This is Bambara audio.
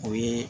O ye